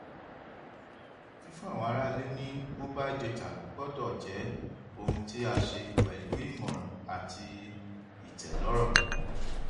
fífún àwọn ará ilé ní mobile data gbọdọ jẹ ohun tí a ṣe pẹlú ìmọràn àti ìtẹlọrọ